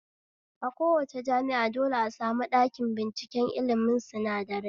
A kowace jami'a dole a sami ɗakin binciken ilmin sinadarai